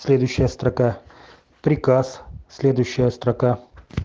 следующая строка приказ следующая строка